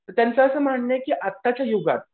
त्यांचं असं म्हणणं आहे की आत्ताच्या युगात